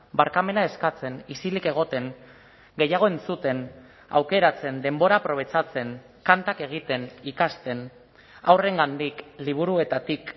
barkamena eskatzen isilik egoten gehiago entzuten aukeratzen denbora aprobetxatzen kantak egiten ikasten haurrengandik liburuetatik